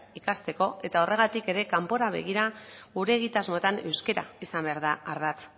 ikasteko eta horregatik ere kanpora begira gure egitasmoetan euskara izan behar da ardatz